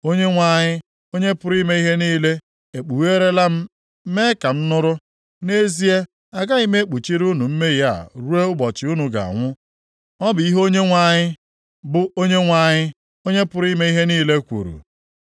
Onyenwe anyị, Onye pụrụ ime ihe niile, ekpugheerala m mee ka m nụrụ, “Nʼezie, agaghị ekpuchiri unu mmehie a ruo ụbọchị unu ga-anwụ.” Ọ bụ ihe Onyenwe anyị, bụ Onyenwe anyị, Onye pụrụ ime ihe niile kwuru.